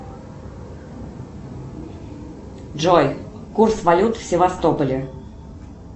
джой курс валют в севастополе